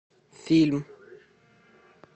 фильм